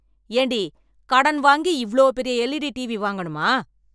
ஏண்டி கடன் வாங்கி இவ்ளோ பெரிய எல்இடி டிவி வாங்கணுமா?